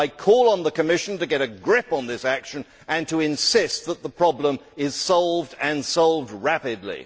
I call on the Commission to get a grip on this action and to insist that the problem is solved, and solved rapidly.